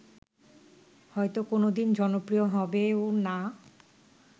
হয়ত কোনদিন জনপ্রিয় হবেও না